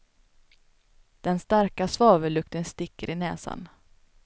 Den starka svavellukten sticker i näsan.